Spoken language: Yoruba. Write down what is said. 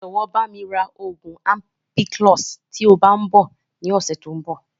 Jọ̀wọ́ bami ra oògùn ampiclox" tí ó bá tíì ń bọ̀ ni ọ̀sẹ̀ tòun bọ̀